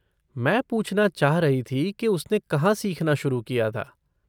मैं पूछना चाह रही थी कि उसने कहाँ सीखना शुरू किया था।